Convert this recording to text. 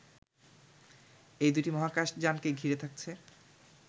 এই দুটি মহাকাশযানকে ঘিরে থাকছে